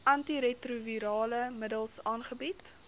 antiretrovirale middels aangebied